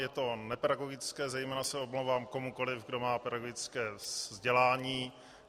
Je to nepedagogické, zejména se omlouvám komukoli, kdo má pedagogické vzdělání.